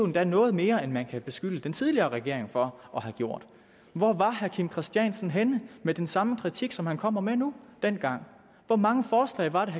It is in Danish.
da noget mere end man kan beskylde den tidligere regering for at have gjort hvor var herre kim christiansen henne med den samme kritik som han kommer med nu dengang hvor mange forslag var det